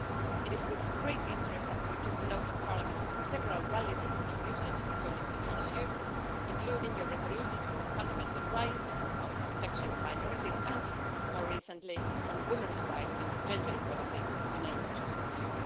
It was with great interest that we took note of Parliament's several valuable contributions concerning this issue, including your resolutions on fundamental rights, on protection of minorities, and more recently, on women's rights and gender equality, to name just a few.